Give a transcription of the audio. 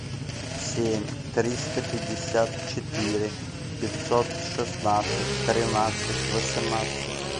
семь триста пятьдесят четыре пятьсот шестнадцать тринадцать восемнадцать